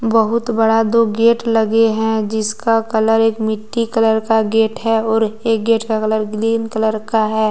बहुत बड़ा दो गेट लगे हैं जिसका कलर एक मिट्टी कलर का गेट है और एक गेट का कलर ग्रीन कलर का है।